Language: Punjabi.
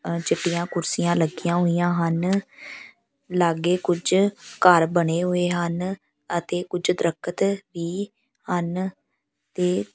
ਚਿੱਟੀਆਂ ਕੁਰਸੀਆਂ ਲੱਗੀਆਂ ਹੋਈਆਂ ਹਨ ਲਾਗੇ ਕੁਝ ਘਰ ਬਣੇ ਹੋਏ ਹਨ ਅਤੇ ਕੁਝ ਦਰੱਖਤ ਵੀ ਹਨ ਤੇ --